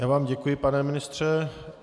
Já vám děkuji, pane ministře.